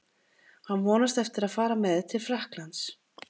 Hann vonast eftir að fara með til Frakklands.